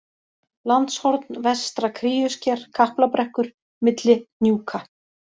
Landshorn, Vestra-Kríusker, Kaplabrekkur, Milli Hnjúka